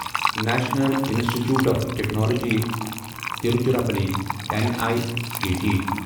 national institute of technology Tiruchirappalli N I T T